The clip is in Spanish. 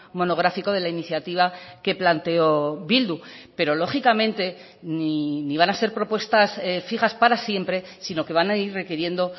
monográfico de la iniciativa que planteó bildu pero lógicamente ni van a ser propuestas fijas para siempre sino que van a ir requiriendo